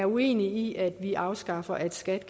uenige i at vi skal afskaffe at skat